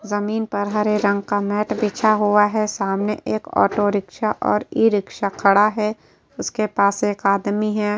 जमीन पर हरे रंग का मैंट बिछा हुआ है। सामने एक औटो रिक्शा और इ-रिक्शा खड़ा है। इसके पास एक आदमी है।